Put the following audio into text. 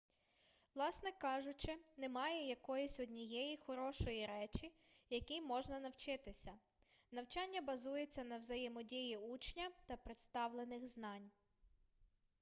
власне кажучи немає якоїсь однієї хорошої речі якій можна навчитися навчання базується на взаємодії учня та представлених знань